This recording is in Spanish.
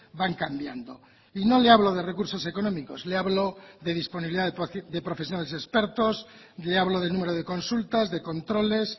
van cambiando y no le hablo de recursos económicos le hablo de disponibilidad de profesionales expertos le hablo del número de consultas de controles